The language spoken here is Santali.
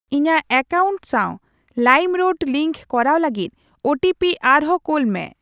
ᱤᱧᱟᱜ ᱮᱠᱟᱣᱩᱱᱴ ᱥᱟᱶ ᱞᱟᱭᱤᱢᱨᱳᱰ ᱞᱤᱝᱠ ᱠᱚᱨᱟᱣ ᱞᱟᱹᱜᱤᱫ ᱳ ᱴᱤ ᱯᱤ ᱟᱨᱦᱚᱸ ᱠᱳᱞᱢᱮ ᱾